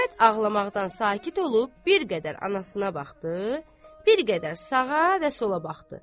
Əhməd ağlamaqdan sakit olub bir qədər anasına baxdı, bir qədər sağa və sola baxdı.